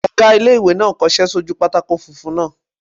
Ọgá ilé-ìwé náà n kọsẹ́ sójú pátákó funfun náà